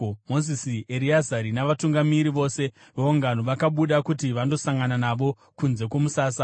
Mozisi, Ereazari navatungamiri vose veungano vakabuda kuti vandosangana navo kunze kwomusasa.